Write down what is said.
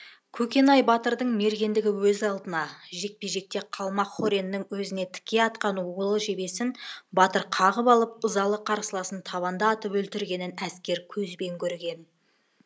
көкенай батырдың мергендігі өз алдына жекпе жекте қалмақ хореннің өзіне тіке атқан улы жебесін батыр қағып алып ызалы қарсыласын табанда атып өлтіргенін әскер көзбен көрген